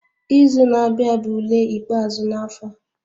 Izu na-abịa bụ ule ikpeazụ na-afọ a